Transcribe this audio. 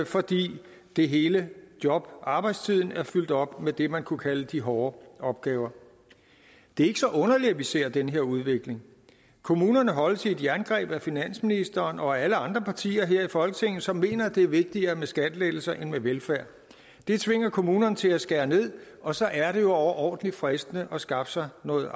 fordi det hele jobbet og arbejdstiden er fyldt op med det man kunne kalde de hårde opgaver det er ikke så underligt at vi ser den her udvikling kommunerne holdes i et jerngreb af finansministeren og af alle andre partier her i folketinget som mener det er vigtigere med skattelettelser end med velfærd det tvinger kommunerne til at skære ned og så er det jo overordentlig fristende at skaffe sig noget